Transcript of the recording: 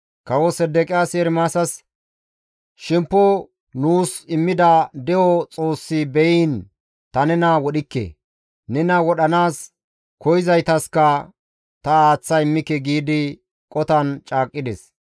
Kawo Sedeqiyaasi Ermaasas, «Shemppo nuus immida de7o Xoossi be7iin ta nena wodhikke; nena wodhanaas koyzaytaska ta aaththa immike» giidi qotan caaqqides.